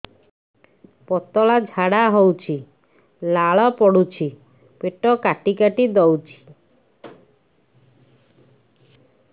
ପତଳା ଝାଡା ହଉଛି ଲାଳ ପଡୁଛି ପେଟ କାଟି କାଟି ଦଉଚି